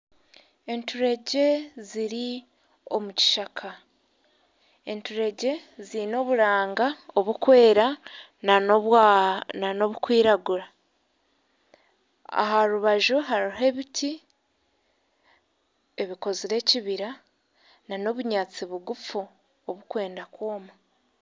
Enturegye ziri omu kishaka, eturegye ziine oburanga oburikwera nana oburikwiragura aha rubaju hariho ebiti ebikozire ekibira nana obunyaatsi bugufu oburikwenda kwoma